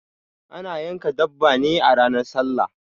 Ana yanka dabba ne a ranar sallah